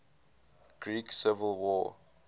greek civil war